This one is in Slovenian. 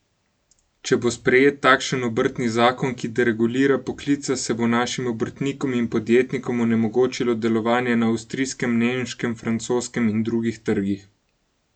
Če bo sprejet takšen obrtni zakon, ki deregulira poklice, se bo našim obrtnikom in podjetnikom onemogočilo delovanje na avstrijskem, nemškem, francoskem in drugih trgih.